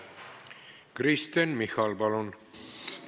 Kristen Michal, palun!